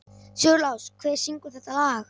Sigurlás, hver syngur þetta lag?